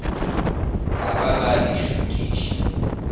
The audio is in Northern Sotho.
la ba la di šutiša